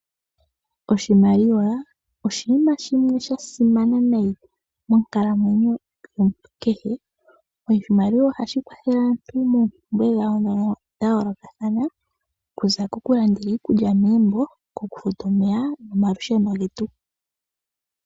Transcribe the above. Oshimaliwa oshinima shimwe sha simana nayi moonkalamwenyo yomuntu kehe. Oshimaliwa ohashi kwathele aantu moompumbwe dhawo dha yoolokathana okuza koku landela iikulya momagumbo, oku futa omeya nomalusheno getu.